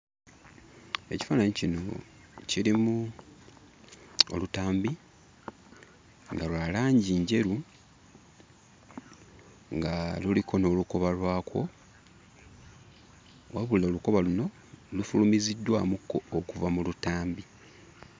Ekifaananyi kino kirimu olutambi nga lwa langi njeru, nga luliko n'olukoba lwakwo. Wabula olukoba luno lufulumiziddwamukko okuva mu lutambi.